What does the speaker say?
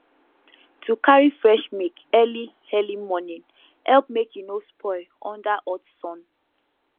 to carry fresh milk early early morning help make e no spoil under hot sun